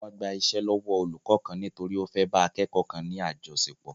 Wọ́n gba iṣẹ́ lọ́wọ́ olùkó kan nítorí ó fé bá akẹ́ẹ́kọ̀ kan ní àjọṣepọ̀.